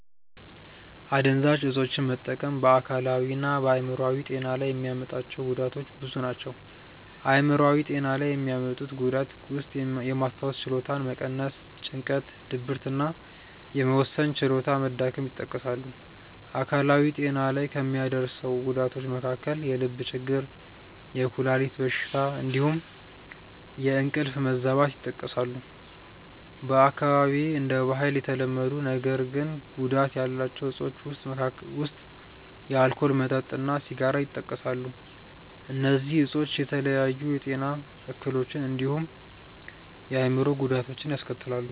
አደንዛዥ እፆችን መጠቀም በ አካላዊ እና በ አይምሮአዊ ጤና ላይ የሚያመጣቸው ጉዳቶች ብዙ ናቸው። አይምሯዊ ጤና ላይ የሚያመጡት ጉዳት ውስጥየማስታወስ ችሎታን መቀነስ፣ ጭንቀት፣ ድብርት እና የመወሰን ችሎታ መዳከም ይጠቀሳሉ። አካላዊ ጤና ላይ ከሚያደርሰው ጉዳቶች መካከል የልብ ችግር፣ የኩላሊት በሽታ እንዲሁም የእንቅልፍ መዛባት ይጠቀሳሉ። በአካባቢዬ እንደ ባህል የተለመዱ ነገር ግን ጉዳት ያላቸው እፆች ውስጥ የአልኮል መጠጥ እና ሲጋራ ይጠቀሳሉ። እነዚህ እፆች የተለያዩ የጤና እክሎችን እንዲሁም የአእምሮ ጉዳቶችን ያስከትላሉ።